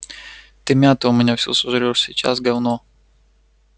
ты мяту у меня всю сожрёшь сейчас говно